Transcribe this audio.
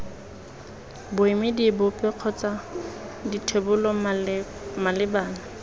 boemedi bope kgotsa dithebolo malebana